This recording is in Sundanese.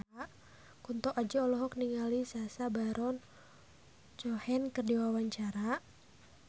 Kunto Aji olohok ningali Sacha Baron Cohen keur diwawancara